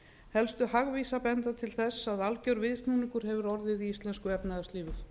helstu hagvísar benda til þess að alger viðsnúningur hefur orðið í íslensku efnahagslífi